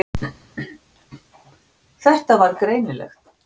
Það var greinilegt.